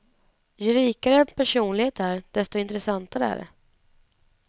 Ju rikare en personlighet är, desto intressantare är det.